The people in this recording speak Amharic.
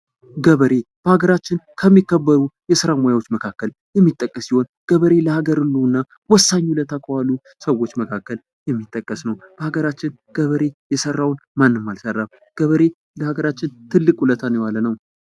ገበሬ በሀገራችን ከሚከበሩ የስራ ሙያዎች መካከል የሚጠቀስ ሲሆን ገበሬ ለሀገሩ ህልውና ወሳኝ ዉለታ ከወሉ ሰዎች መካከል የሚጠቀስ ነው ። በሀገራችን ገበሬ የሰራውን ማንም አልሰራም ፣ ገበሬ ለሀገራችን ትልቅ ውለታን የዋለ ነው ።